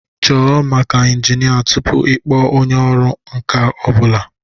Chọọ maka injinia tupu ịkpọọ onye ọrụ nka ọ bụla